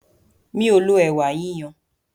Mí o lo ẹ̀wà yíyan.